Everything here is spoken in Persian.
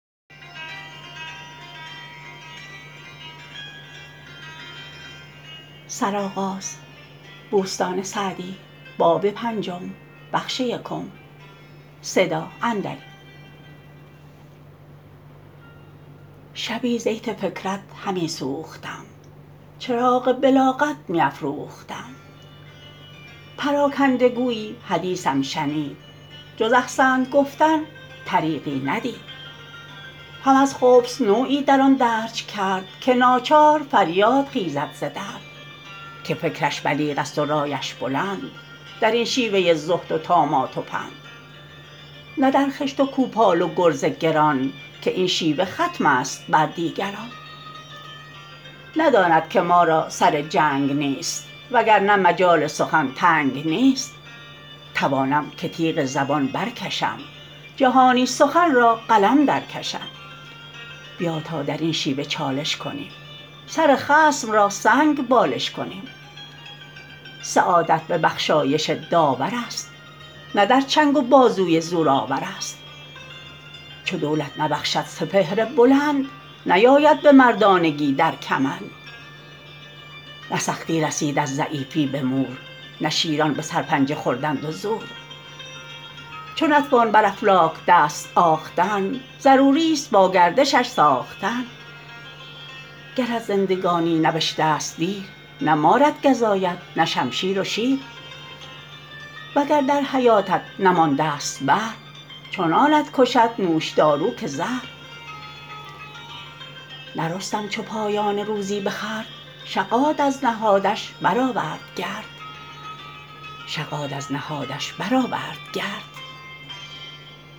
شبی زیت فکرت همی سوختم چراغ بلاغت می افروختم پراکنده گویی حدیثم شنید جز احسنت گفتن طریقی ندید هم از خبث نوعی در آن درج کرد که ناچار فریاد خیزد ز درد که فکرش بلیغ است و رایش بلند در این شیوه زهد و طامات و پند نه در خشت و کوپال و گرز گران که این شیوه ختم است بر دیگران نداند که ما را سر جنگ نیست وگر نه مجال سخن تنگ نیست توانم که تیغ زبان بر کشم جهانی سخن را قلم در کشم بیا تا در این شیوه چالش کنیم سر خصم را سنگ بالش کنیم سعادت به بخشایش داورست نه در چنگ و بازوی زور آورست چو دولت نبخشد سپهر بلند نیاید به مردانگی در کمند نه سختی رسید از ضعیفی به مور نه شیران به سرپنجه خوردند و زور چو نتوان بر افلاک دست آختن ضروری است با گردشش ساختن گرت زندگانی نبشته ست دیر نه مارت گزاید نه شمشیر و شیر وگر در حیاتت نمانده ست بهر چنانت کشد نوشدارو که زهر نه رستم چو پایان روزی بخورد شغاد از نهادش برآورد گرد